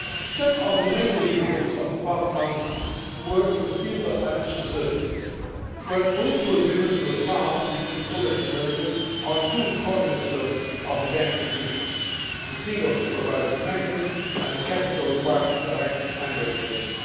Some of the main deliverables of the past months were in the field of financial services, where political agreements were found between co legislators on two cornerstones of the banking union the single supervisory mechanism and the Capital Requirements Directive and Regulation.